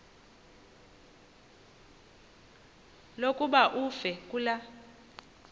lokuba uve kulaa